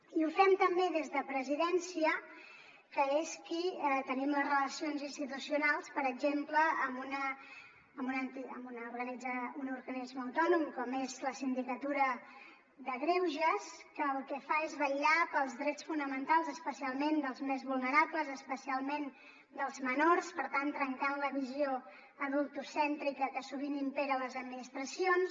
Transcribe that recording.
i ho fem també des de presidència que és qui tenim les relacions institucionals per exemple amb un organisme autònom com és el síndic de greuges que el que fa és vetllar pels drets fonamentals especialment dels més vulnerables especialment dels menors per tant trencant la visió adultocèntrica que sovint impera a les administracions